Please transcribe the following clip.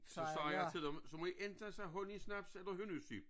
Så sagde jeg til dem så må i enten sige honningsnaps eller hønnusyp